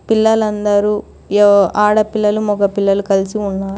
పిల్లలందరూ ఆడపిల్లలు మగ పిల్లలు కలిసి ఉన్నారు.